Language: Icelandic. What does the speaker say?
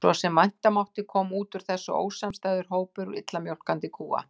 Svo sem vænta mátti kom út úr þessu ósamstæður hópur illa mjólkandi kúa.